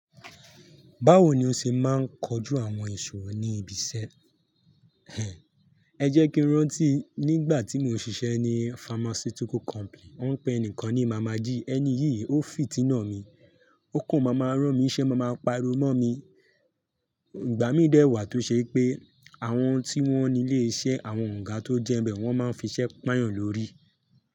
Báwo ni o ṣe máa ń kojú àwọn ìṣòro ní ibi iṣẹ́ ẹ? Ẹ jẹ́ kí ń rántí nígbà tí mò ń ṣiṣẹ́ ní pharmaceutical company, wọ́n ń pe ẹnìkan ní màmá jíí. Ẹni yìí ó fìtínà mi, ó kàn máa máa rán mi n ṣe máa máa pariwo mọ́ mi. Ìgbà mí dẹ̀ wá tó ṣe pé àwọn tí wọ́n nílé iṣẹ́ àwọn ògà tó jẹ́ nbẹ̀ wọ́n máa ń fiṣẹ́ pàáyàn lórí.